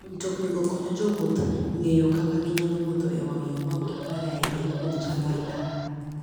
Mtoknigo konyo jowuoth ng'eyo kaka ginyalo wuotho e wang'yo maok giparre ahinya kuom chal mar ndara.